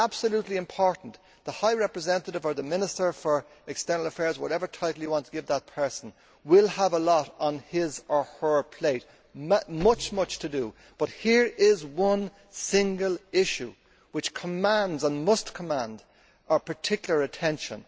It is crucially important that the High Representative, Minister for External Affairs, whatever title you want to give that person, will have a lot on his or her plate, much to do, but there is one single issue which commands and must command our particular attention.